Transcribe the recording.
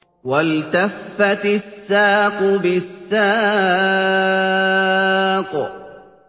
وَالْتَفَّتِ السَّاقُ بِالسَّاقِ